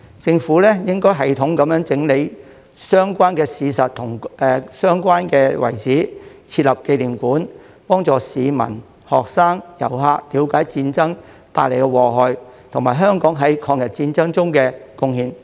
政府應有系統地整理相關的事實及相關的遺址，設立紀念館，幫助市民、學生和遊客了解戰爭帶來的禍害及香港在抗日戰爭中的貢獻。